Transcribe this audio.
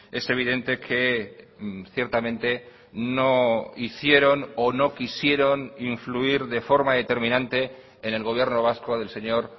es evidente que ciertamente no hicieron o no quisieron influir de forma determinante en el gobierno vasco del señor